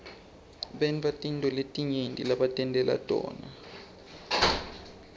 bantatintfo letinyenti lebatentela tona